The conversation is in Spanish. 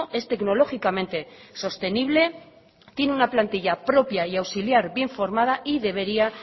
es tecnológicamente sostenible tiene una plantilla propia y auxiliar bien formada y debería